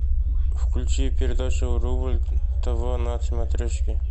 включи передачу рубль тв на смотрешке